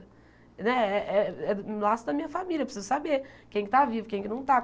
Né é é é o laço da minha família, eu preciso saber quem está vivo, quem é que não está.